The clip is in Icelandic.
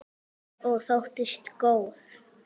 Og þóttist góð.